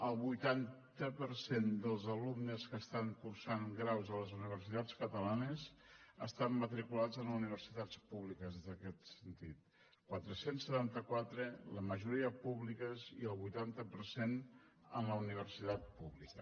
el vuitanta per cent dels alumnes que estan cursant graus a les universitats catalanes estan matriculats en universitats públiques en aquest sentit quatre cents i setanta quatre la majoria públiques i el vuitanta per cent en la universitat pública